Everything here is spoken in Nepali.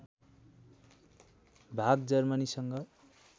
भाग जर्मनीसँग